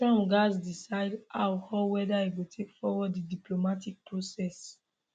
trump gatz decide how or weda e go take forward di diplomatic process